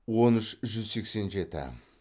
он үш жүз сексен жеті